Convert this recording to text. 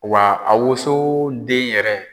Wa a woso den yɛrɛ